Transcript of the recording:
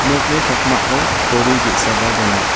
nokni pakmao kori ge·saba donga.